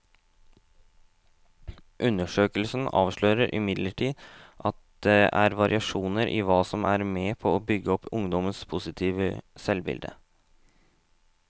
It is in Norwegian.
Undersøkelsen avslører imidlertid at det er variasjoner i hva som er med på å bygge opp ungdommenes positive selvbilde.